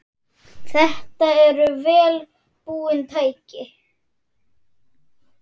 Þetta eru vel búin tæki.